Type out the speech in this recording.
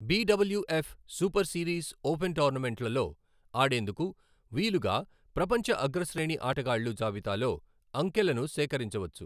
B W F super series open టోర్నమెంట్లలో ఆడేందుకు వీలుగా ప్రపంచ అగ్రశ్రేణి ఆటగాళ్లు జాబితాలో అంకెలను సేకరించవచ్చు.